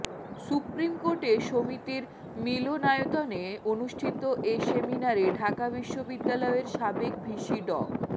সুপ্রিমকোর্টে সমিতির মিলনায়তনে অনুষ্ঠিত এ সেমিনারে ঢাকা বিশ্ববিদ্যালয়ের সাবেক ভিসি ড